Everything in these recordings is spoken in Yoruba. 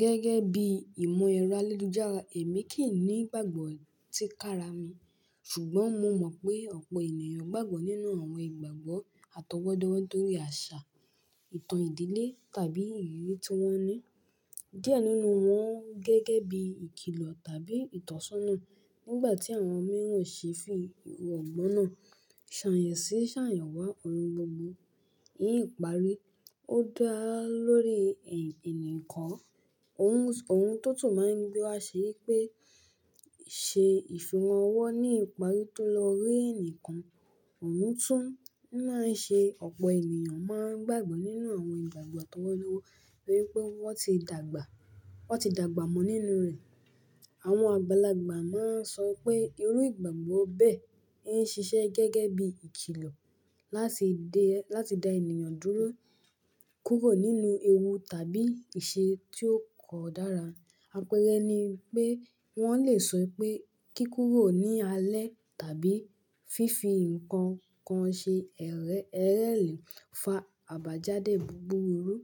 Gẹ́gẹ́ bí i ìmọ̀ ẹ̀rọ ayélujára, èmi kì í ní ìgbàgbọ́ tí kára mi, ṣùgbọ́n mo mọ̀ pé ọ̀pọ̀ ènìyàn gbàgbọ́ nínú àwọn ìgbàgbọ́ àtọwọ́dọ́wọ́ nítorí àṣà, ìtàn ìdílé tàbí ìrírí tí wọ́n ní. Díẹ̀ nínú wọn gẹ́gẹ́ bí i ìkilọ̀ tàbí ìtọ́sọ́nà. Nígbà tí àwọn mìíràn ṣe fi ìwọ̀gbóná ṣàyansí ṣàyànwá ọ̀rungbọ̀mú. Ní ìparí, ó dáa lórí ẹ̀, ẹnìkan. Ohun, ohun tó tù máa ń gbé wa ṣe yí pé ṣe ìfihàn ọwọ́ ní ìparí tó lọ rí ẹnìkan. Ohun tó máa ń ṣe ọ̀pọ̀ ènìyàn máa ń gbàgbọ́ nínú àwọn ìgbàgbọ́ àtọwọ́dọ́wọ́ torí pé wọ́n ti dàgbà, wọ́n ti dàgbà mọ́ nínú rẹ̀. Àwọn àgbàlagbà máa ń sọ pé irú ìgbàgbọ́ bẹ́ẹ̀ ń ṣiṣẹ́ gẹ́gẹ́ bí i ìkilọ̀ láti de, láti da ènìyàn dúró kúrò nínú ewu tàbí ìṣe tí ó kọ dára. Àpẹẹrẹ ni pé wọ́n lè sọ pé kí kúrò ní alẹ́ tàbí fífi ǹkan kan ṣe ẹrẹ́, ẹrẹ́ lẹ̀ fa àbájáde búburú,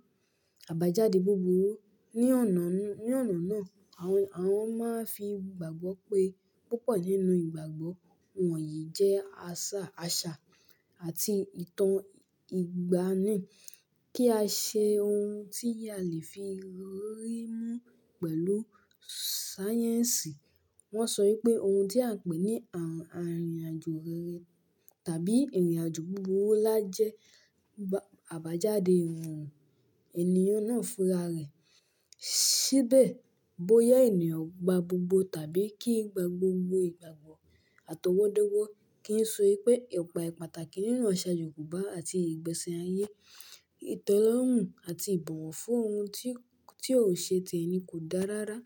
àbájáde búburú. Ni ọ̀nà, ní ọ̀nà náà àwọn, àwọn máa ń fi ìgbàgbọ́ pé púpọ̀ nínú ìgbàgbọ́ wọ̀nyí jẹ́ àṣà, àṣà àti ìtàn ìgbàanì. Kí a ṣe ohun tí a lè fi rí mú pẹ̀lú sáyẹ́ǹsì. Wọ́n sọ yí pé ohun tí à ń pè ní àrùn àríyànjọ́ rere tàbí ìrìnàjò búburú lájẹ àbájáde ìwọ̀n ènìyàn náà fúnra rẹ̀. Síbẹ̀ bóyá ènìyàn gba gbogbo tàbí kì í gba gbogbo ìgbàgbọ́ àtọwọ́dọ́wọ́ kì ń so wípé ipa pàtàkì nínú àṣà yoòbá àti ìgbẹ́ṣẹ̀ ayé. Ìtẹ́lọ̀rùn àti ìbọ̀wọ̀ fún ohun tí, tí ò ṣe téẹni kò dára rárá.